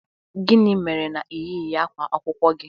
Gịnị mere na ị yighị ákwá akwụkwọ gị?